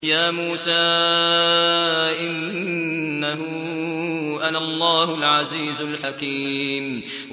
يَا مُوسَىٰ إِنَّهُ أَنَا اللَّهُ الْعَزِيزُ الْحَكِيمُ